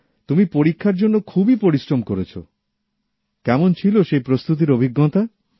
তুমি পরীক্ষার জন্য খুবই পরিশ্রম করেছো কেমন ছিল সেই প্রস্তুতির অভিজ্ঞতা